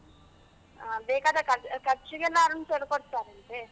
ಹಾ ಬೇಕಾದ ಖರ್ಚಿ~ ಖರ್ಚಿಗೆಲ್ಲ, ಅರುಣ್ ಸರ್ ಕೊಡ್ತಾರ ಅಂತೆ.